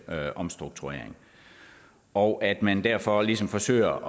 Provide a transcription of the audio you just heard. omstrukturering og at man derfor ligesom forsøger